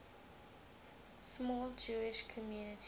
small jewish community